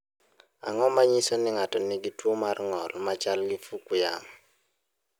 Ang’o ma nyiso ni ng’ato nigi tuwo mar ng’ol ma chal gi Fukuyama?